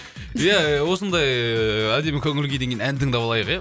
ия осындай ыыы әдемі көңіл күйден кейін ән тыңдап алайық ия